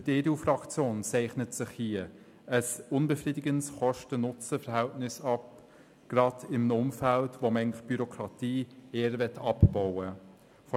Für die EDU-Fraktion zeichnet sich hier ein unbefriedigendes Kosten-NutzenVerhältnis ab, und dies gerade in einem Umfeld, wo man die Bürokratie eher abbauen möchte.